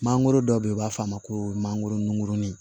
Mangoro dɔ bɛ yen u b'a f'a ma ko mangoronin